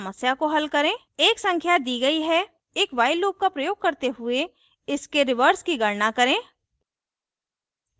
एक संख्या दी गई है एक while loop का प्रयोग करते हुए इसके व्युत्क्रम reverse की गणना करें उदाहरण: 19435 => 53491